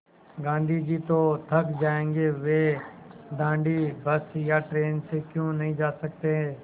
गाँधी जी तो थक जायेंगे वे दाँडी बस या ट्रेन से क्यों नहीं जा सकते